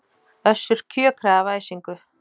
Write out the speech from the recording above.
Össur kjökraði af æsingi.